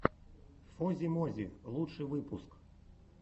фози мози лучший выпуск